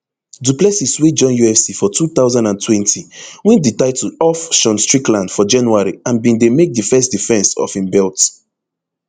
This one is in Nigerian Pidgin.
du plessis wey join ufc for two thousand and twenty win di title off sean strickland for january and bin dey make di first defence of im belt